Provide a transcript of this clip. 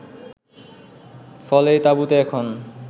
ফলে এই তাবুতে এখন